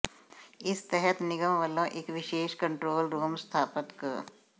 ਇਸ ਤਹਿਤ ਨਿਗਮ ਵਲੋਂ ਇਕ ਵਿਸ਼ੇਸ਼ ਕੰਟਰੋਲ ਰੂਮ ਸਥਾਪਤ ਕ